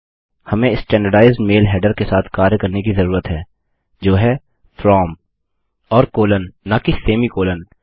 हमें standardised mail header के साथ कार्य करने की जरूरत है जो है From और कोलन न कि सेमीकोलन